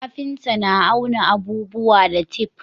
kafinta na auna abubuwa da tef